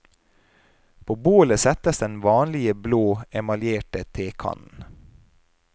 På bålet settes den vanlige blå, emaljerte tekannen.